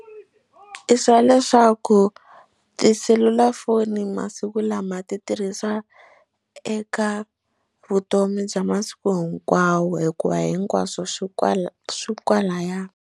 I swa leswaku tiselulafoni masiku lama ti tirhisa eka vutomi bya masiku hinkwawo hikuva hinkwaswo swi kwala swi kwalaya.